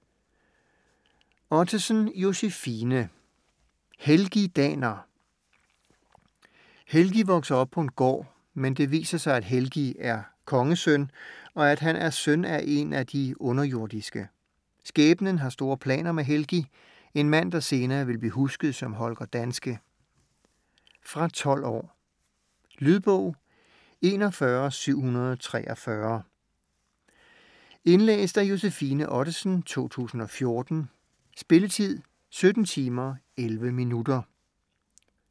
Ottesen, Josefine: Helgi Daner Helgi vokser op på en gård. Men det viser sig at Helgi er kongesøn og at han er søn af en af de underjordiske. Skæbnen har store planer med Helgi, en mand der senere vil blive husket som Holger Danske. Fra 12 år. Lydbog 41743 Indlæst af Josefine Ottesen, 2014. Spilletid: 17 timer, 11 minutter.